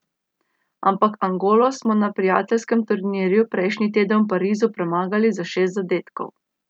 Ampak Angolo smo na prijateljskem turnirju prejšnji teden v Parizu premagali za šest zadetkov.